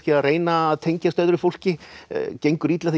að reyna að tengjast öðru fólki gengur illa því